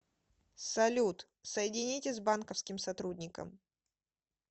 салют соедините с банковским сотрудником